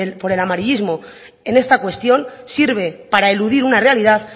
por el amarillísimo en esta cuestión sirve para eludir una realidad